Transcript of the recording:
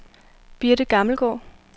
Birthe Gammelgaard